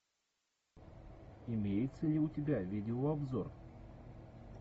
имеется ли у тебя видеообзор